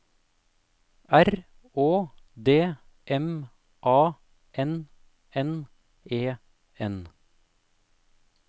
R Å D M A N N E N